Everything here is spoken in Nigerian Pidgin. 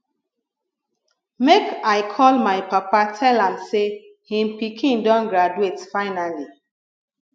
make i call my papa tell am say him pikin don graduate finally